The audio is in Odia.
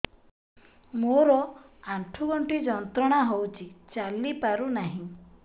ମୋରୋ ଆଣ୍ଠୁଗଣ୍ଠି ଯନ୍ତ୍ରଣା ହଉଚି ଚାଲିପାରୁନାହିଁ